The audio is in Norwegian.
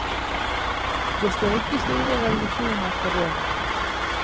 Det står ikke store revolusjoner for døren.